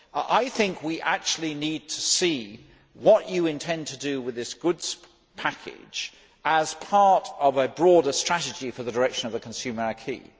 I think we need to see what you intend to do with this goods package as part of a broader strategy for the direction of the consumer acquis.